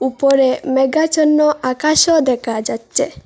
উপরে মেঘাচ্ছন্ন আকাশও দেখা যাচ্ছে।